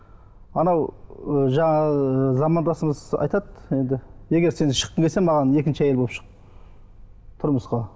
анау ы жаңағы замандасымыз айтады енді егер сен шыққың келсе маған екінші әйел болып шық тұрмысқа